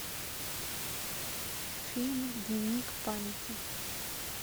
фильм дневник памяти